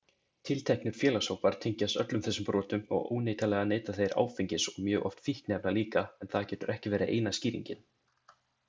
Tilteknir félagshópar tengjast öllum þessum brotum og óneitanlega neyta þeir áfengis og mjög oft fíkniefna líka en það getur ekki verið eina skýringin.